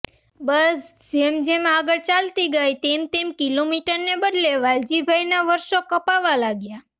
બસ જેમ જેમ આગળ ચાલતી ગઈ તેમ તેમ કિલોમીટરને બદલે વાલજીભાઈનાં વર્ષો કપાવા લાગ્યાં